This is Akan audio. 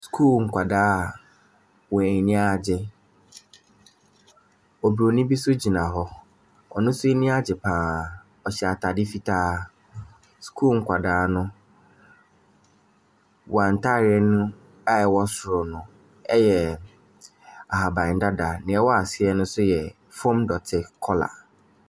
Sukuu nkwadaa a wɔn ani agye. Obronin bi nso gyina hɔ, ɔno nso ani agye pa ara, ɔhyɛ ataade fitaa. Sukuu nkwadaa no, wɔn ataade no a ɛwɔ soro no yɛ ahabandadaa, deɛ ɛwɔ aseɛ no nso yɛ famu dɔteɛ colour.